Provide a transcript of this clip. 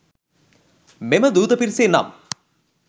මෙම දූත පිරිසේ නම්